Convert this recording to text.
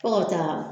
Fo ka taa